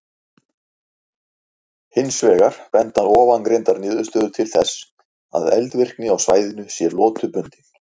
Hins vegar benda ofangreindar niðurstöður til þess að eldvirkni á svæðinu sé lotubundin.